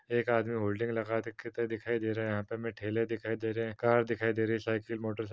एक आदमी होल्डिंग लगाते दिखाई दे रहा है। यहाँ पे हमें ठेले दिखाई दे रहे हैं कार दिखाई दे रही है साइकिल मोटरसाइकिल --